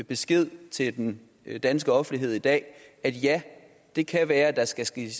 besked til den danske offentlighed i dag at ja det kan være at der skal ske